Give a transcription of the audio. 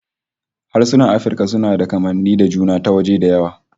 Harsunan Afirka suna da kamanni da juna ta waje da yawa